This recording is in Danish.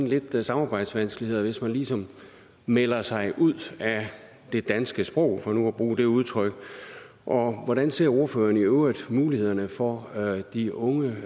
lidt samarbejdsvanskeligheder hvis man ligesom melder sig ud af det danske sprog for nu at bruge det udtryk og hvordan ser ordføreren i øvrigt på mulighederne for de unge